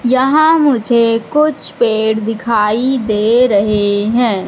यहां मुझे कुछ पेड़ दिखाई दे रहे हैं।